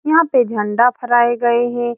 यहाँ पे झंडा फहराए गए हैं।